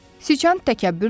Siçan təkəbbürlə dedi.